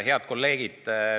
Head kolleegid!